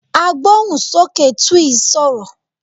Agbóhùnsókè Twi sọ̀rọ̀.